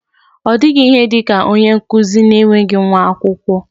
Ọ dịghị ihe dị ka onye nkụzi na-enweghị nwa akwụkwọ.